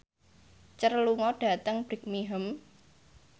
Cher lunga dhateng Birmingham